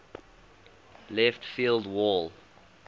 left field wall